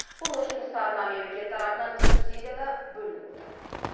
құрылыс жұмыстарына мемлекет тарапынан субсидия да бөлініп отыр